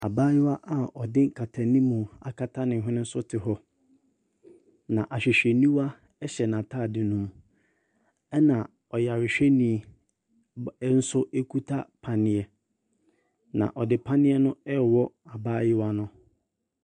Abayewa a ɔde nkatanimu akata ne hwene so te hɔ, na ahwehwɛniwa hyɛ n'atade no mu, ɛnna ɔyarehwɛni ba nso kuta panneɛ, na ɔde panneɛ no rewɔ abayewa no.